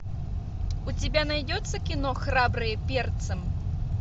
у тебя найдется кино храбрые перцем